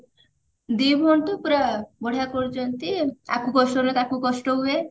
ଦି ଭଉଣୀ ତ ପୁରା ବଢିଆ କରୁଛନ୍ତି ଆକୁ କଷ୍ଟ ହେଲେ ତାକୁ କଷ୍ଟ ହୁଏ